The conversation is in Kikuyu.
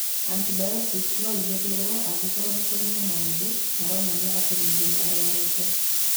Antibiotic no ihũthĩrũo angĩkorũo nĩ kũrĩ na maũndũ maronania atĩ mũndũ nĩ arũarĩte.